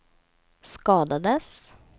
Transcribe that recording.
skadades